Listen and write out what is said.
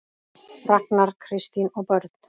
Ragnar, Kristín og börn.